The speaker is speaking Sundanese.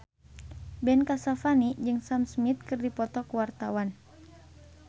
Ben Kasyafani jeung Sam Smith keur dipoto ku wartawan